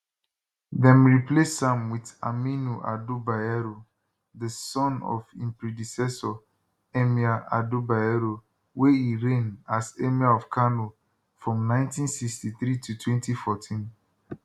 dem replace am wit aminu ado bayero di son of im predecessor emir ado bayero wey erign as emir of kano from 1963 to 2014